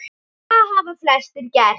Og það hafa flestir gert.